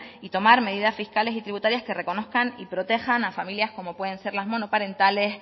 y tomar medidas fiscales y tributarias que reconozcan y protejan a familias como pueden las monoparentales